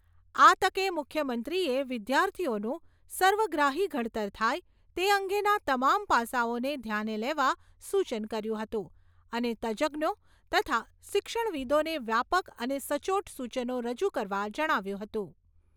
આ તકે મુખ્યમંત્રીએ વિદ્યાર્થીઓનું સર્વગ્રાહી ઘડતર થાય તે અંગેના તમામ પાસાઓને ધ્યાને લેવા સૂચન કર્યું હતું અને તજજ્ઞો તથા શિક્ષણવિદોને વ્યાપક અને સચોટ સૂચનો રજૂ કરવા જણાવ્યું હતું.